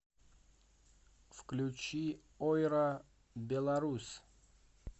включи ойра беларусь